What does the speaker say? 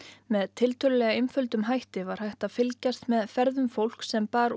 með tiltölulega einföldum hætti var hægt að fylgjast með ferðum fólks sem bar